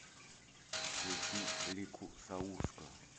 включи лику саурскую